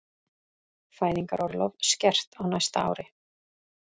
Fæðingarorlof skert á næsta ári